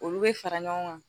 Olu bɛ fara ɲɔgɔn kan